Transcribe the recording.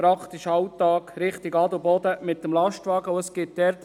Ich fahre fast jeden Tag mit dem Lastwagen in Richtung Adelboden.